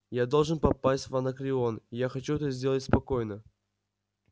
я должен попасть в анакреон я хочу это сделать спокойно